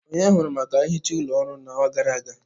Onye hụru maka nhicha ụlọ ọrụ n'ọnwa gara aga?